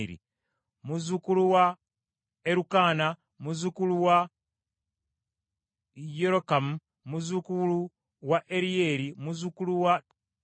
muzzukulu wa Erukaana, muzzukulu wa Yerokamu, muzzukulu wa Eryeri, muzzukulu wa Toowa,